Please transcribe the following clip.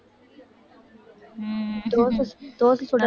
தோசை, தோசை சுட